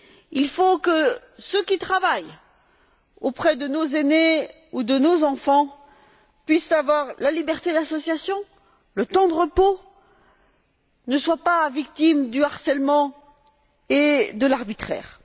Il faut que ceux qui travaillent auprès de nos aînés ou de nos enfants puissent avoir la liberté d'association, le temps de repos, et ne soient pas victimes du harcèlement et de l'arbitraire.